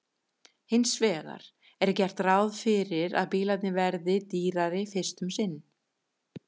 Hins vegar er gert ráð fyrir að bílarnir verði dýrari fyrst um sinn.